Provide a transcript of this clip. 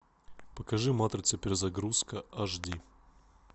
покажи матрица перезагрузка аш ди